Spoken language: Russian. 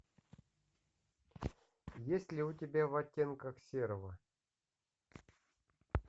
есть ли у тебя в оттенках серого